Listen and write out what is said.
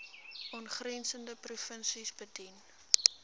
aangrensende provinsies bedien